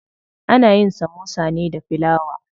Ana yin samosa ne da filawa.